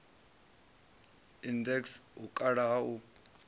index u kala ha u